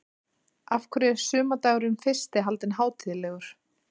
Af hverju er sumardagurinn fyrsti haldinn hátíðlegur?